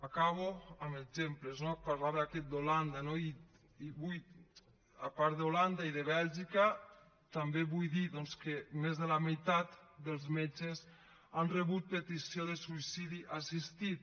acabo amb exemples no parlava aquest d’holanda i a part d’holanda i de bèlgica també vull dir doncs que més de la meitat dels metges han rebut petició de suïcidi assistit